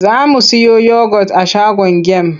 Za mu siyo yogot a shagon gem.